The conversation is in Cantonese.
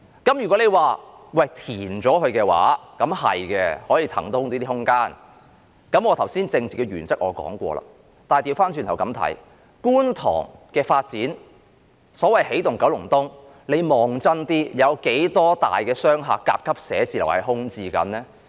填海的確可以騰出空間，我剛才已經提出了一些政治原則，但倒過來看，在觀塘的發展中，所謂的"起動九龍東"，如果大家看清楚，當中有多少幢大型商廈和甲級寫字樓現正空置呢？